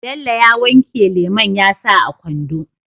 Bello ya wanke lemon yasa a kwando